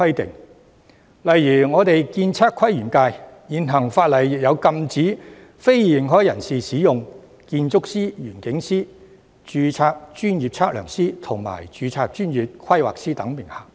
舉例說，我所屬的建測規園界的現行法例，亦禁止非認可人士使用建築師、園境師、註冊專業測量師及註冊專業規劃師等名銜。